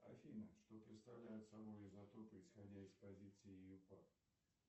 афина что представляют собой изотопы исходя из позиции июпак